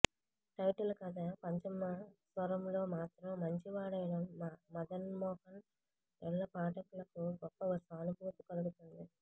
title కథ పంచమ స్వరంలో మాత్రం మంచివాడైన మదన్మోహన్ యెడల పాఠకులకు గొప్ప సానుభూతి కలుగుతుంది